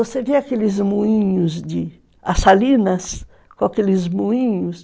Você vê aqueles moinhos de as salinas, com aqueles moinhos.